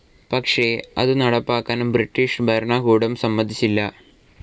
പക്ഷേ അതു നടപ്പാക്കാൻ ബ്രിട്ടീഷ് ഭരണകൂടം സമ്മതിച്ചില്ല.